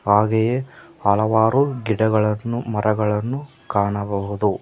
ಹಾಗೆಯೇ ಹಲವಾರು ಗಿಡಗಳನ್ನು ಮರಗಳನ್ನು ಕಾಣಬಹುದು.